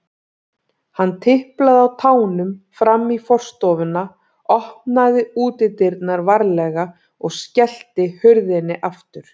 Hann tiplaði á tánum fram í forstofuna, opnaði útidyrnar varlega og skellti hurðinni aftur.